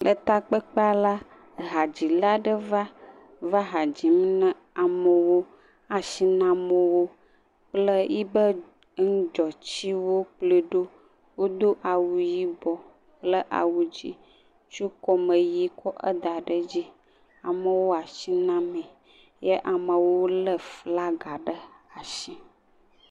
Le takpekpea la , hadzila ɖe va , va ha dzim ne amewo. E ashi nam wo kple yi ƒe ŋudzɔtsiwo kplɔe ɖo. Wodo awu yibɔ kple awu dzĩ tso kɔmeyi kɔ eda ɖe edzi. Amewo ashi na me. Ye amewo lé flaga ɖe ashi.